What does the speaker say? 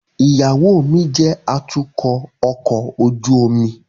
Iyawo mi jẹ atukọ ọkọ ojú omi